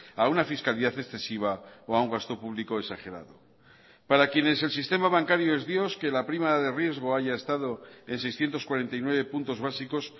a una fiscalidad excesiva o a un gasto público exagerado para quienes el sistema bancario es dios que la prima de riesgo haya estado en seiscientos cuarenta y nueve puntos básicos